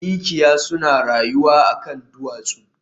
Mikiya suna rayuwa a kan duwatsu